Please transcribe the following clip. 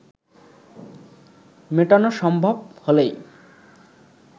মেটানো সম্ভব হলেই